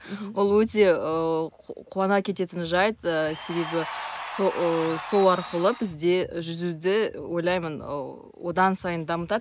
ол өте ыыы қуана кететін жайт ыыы себебі сол арқылы бізде жүзуді ойлаймын ыыы одан сайын дамытады